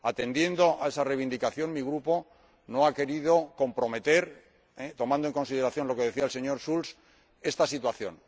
Atendiendo a esa reivindicación, mi Grupo no ha querido comprometer —tomando en consideración lo que decía el señor Schulz— esta situación.